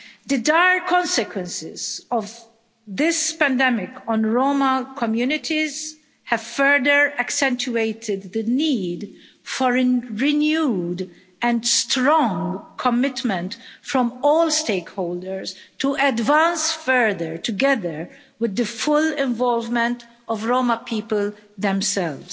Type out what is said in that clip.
The dire consequences of this pandemic on Roma communities have further accentuated the need for a renewed and strong commitment from all stakeholders to advance further together with the full involvement of Roma people themselves.